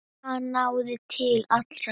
Hann náði til allra.